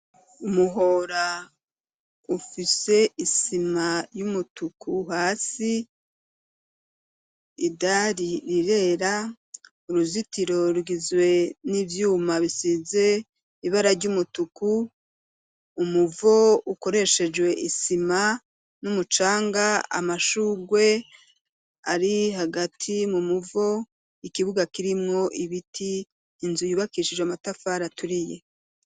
Umuhora, ufise isima y'umutuku hasi, idari rirera, uruzitiro rugizwe n'ivyuma, bisize ibarary'umutuku, umuvo ukoreshejwe isima, n'umucanga, amashurwe ari hagati mu muvo, ikibuga kirimwo ibiti, inzu yubakishijwe amatafari aturiye.